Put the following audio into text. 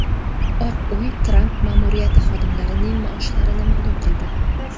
Oq uy Tramp ma’muriyati xodimlarining maoshlarini ma’lum qildi.